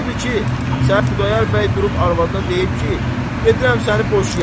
Odur ki, sən Xudayar bəy durub arvadına deyib ki, gedirəm səni boşayam.